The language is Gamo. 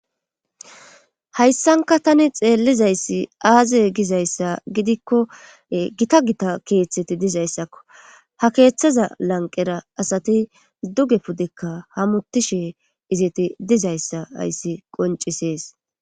hayssanka tani xeellizayssi aaziye gizayssa gidikko gita gita keeththeti dizayssakko ha keeththaza lanqera asati duge puddekka hamutishe izeti dizayssa hayssi qoncisees